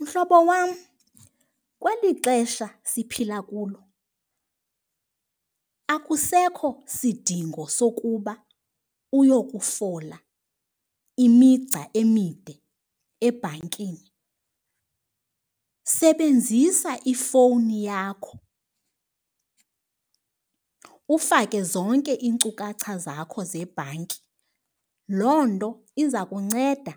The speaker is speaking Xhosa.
Mhlobo wam, kweli xesha siphila kulo akusekho sidingo sokuba uyokufola imigca emide ebhankini, sebenzisa ifowuni yakho ufake zonke iinkcukacha zakho zebhanki. Loo nto iza kunceda